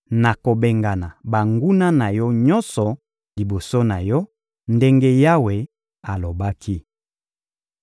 na kobengana banguna na yo nyonso liboso na yo, ndenge Yawe alobaki.